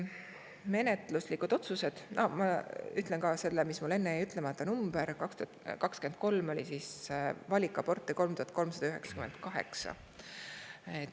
Ma ütlen ära ka selle, mis mul enne jäi ütlemata: aastal 2023 oli valikaborte 3398.